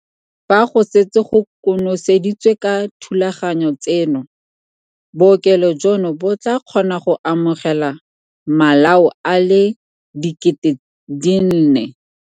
Fa go setse go konoseditswe ka dithulaganyo tseno, bookelo jono bo tla kgona go amogela malao a le 4 000.